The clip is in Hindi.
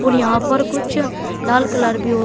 और यहां पर कुछ लाल कलर भी --